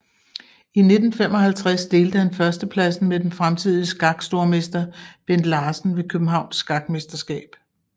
I 1955 delte han førstepladsen med den fremtidige skakstormester Bent Larsen ved Københavns Skakmesterskab